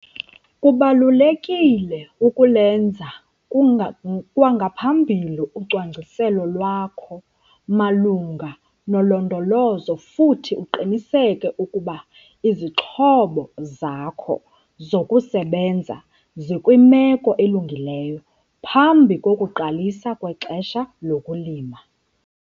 Kubalulekile ukulwenza kwangaphambili ucwangciselo lwakho malunga nolondolozo, futhi uqiniseke ukuba izixhobo zakho zokusebenza zikwimeko elungileyo phambi kokuqalisa kwexesha lokulima.